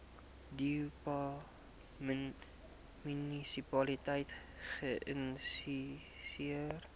dubai munisipaliteit geïnisieer